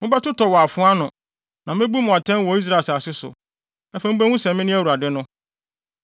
Mobɛtotɔ wɔ afoa ano, na mebu mu atɛn wɔ Israel asase so. Afei mubehu sɛ mene Awurade no.